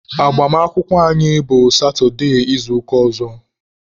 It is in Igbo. Agbamakwụkwọ anyị bụ satụde izuụka ọzọ.